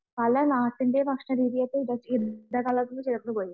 പല നാട്ടിന്റെ ഭക്ഷണ രീതിയുമായി ഇടകലർന്നു ചേർന്നുപോയി